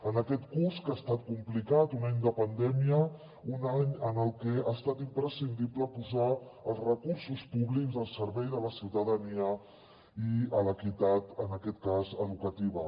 en aquest curs que ha estat complicat un any de pandèmia un any en què ha estat imprescindible posar els recursos públics al servei de la ciutadania i a l’equitat en aquest cas educativa